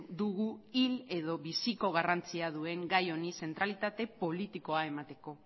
dugu hil edo biziko garrantzia duen gai honi zentralitate politikoa emateko